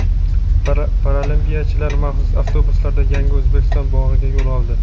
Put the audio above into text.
Paralimpiyachilar maxsus avtobuslarda "Yangi O‘zbekiston" bog‘iga yo‘l oldi.